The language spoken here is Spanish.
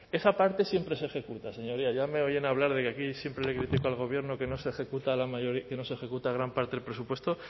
esa parte siempre se ejecuta señorías y ya me oyen hablar de que aquí siempre le critico al gobierno que no se ejecuta gran parte del presupuesto